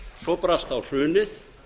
svo brast á hrunið